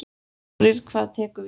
Þórir: Hvað tekur við núna?